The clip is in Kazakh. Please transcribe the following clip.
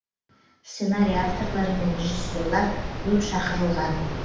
сценарий авторлары мен режиссерлар көп шақырылған